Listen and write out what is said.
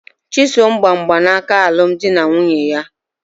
Chisom gba mgbanaka alum di na nwunye ya